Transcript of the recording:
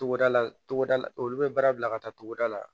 Togoda la togoda la olu be baara bila ka taa togoda la